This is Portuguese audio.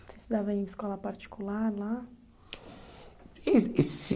Você estudava em escola particular lá?